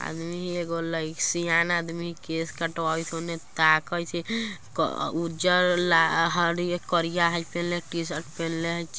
आदमी हई एगो सेयान आदमी केस कटवावत ओन्ने ताकत हई क उजर ला हरी करिया हई पेहेने टी-शर्ट पेहेने हई।